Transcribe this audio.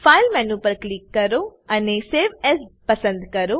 file menu પર click કરો save as પસંદ કરો